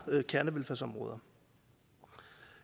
kernevelfærdsområder